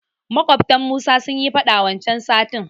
Maƙwabtan Musa sunyi faɗa wancan satin.